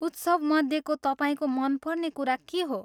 उत्सवमध्येको तपाईँको मनपर्ने कुरा के हो?